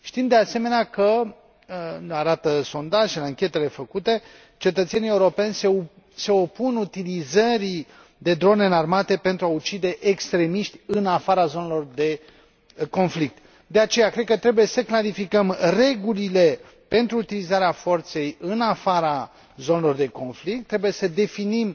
Știm de asemenea că o arată sondajele, anchetele făcute cetățenii europeni se opun utilizării de drone înarmate pentru a ucide extremiști în afara zonelor de conflict. De aceea, cred că trebuie să clarificăm regulile pentru utilizarea forței în afara zonelor de conflict, trebuie să definim